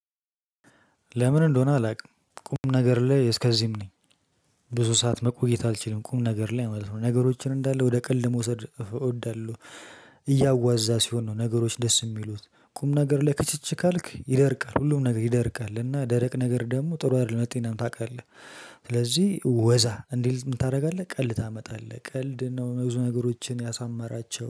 ለምን እንደሆነ አላውቅም ቁም ነገር ላይ እስከዚህም ነኝ። ብዙ ሰዓት መቆየት አልችልም ቁም ነገር ላይ ማለት ነው። ነገሮችን እንዳለ ወደ ቀልድ መውሰድ እወዳለሁ። እያዋዛ ሲሆን ነው ነገሮች ደስ የሚሉት። ቁም ነገር ላይ ክችች ካልክ ይደርቃል ሁሉም ነገር ይደርቃል እና ደረቅ ነገር ደግሞ ጥሩ አይደለም ለጤናም ታውቃለህ። ስለዚህ ወዛ እንዲል ምን ታደርጋለህ? ቀልድ ታመጣለህ ቀልድ ነው ብዙ ነገሮችን ያሳማራቸው